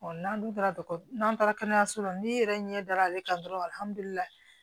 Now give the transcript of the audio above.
n'an dun taara n'an taara kɛnɛyaso la n'i yɛrɛ ɲɛ da ale kan dɔrɔn